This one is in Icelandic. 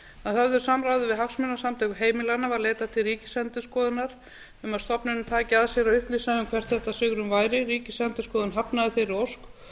að höfðu samráði við hagsmunasamtök heimilanna var leitað til ríkisendurskoðunar um að stofnunin tæki að sér að upplýsa um hvert þetta svigrúm væri ríkisendurskoðun hafnaði þeirri ósk